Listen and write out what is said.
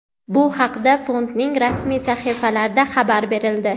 Bu haqda fondning rasmiy sahifalarida xabar berildi.